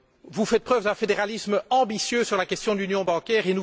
Vous faites preuve d'un fédéralisme ambitieux sur la question de l'union bancaire.